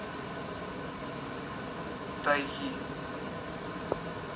тайги